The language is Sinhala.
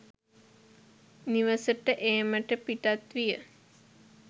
නිවසට ඒමට පිටත් විය.